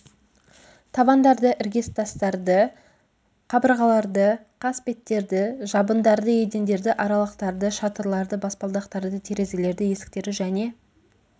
табандарды іргетастарды қабырғаларды қасбеттерді жабындарды едендерді аралықтарды шатырларды баспалдақтарды терезелерді есіктерді және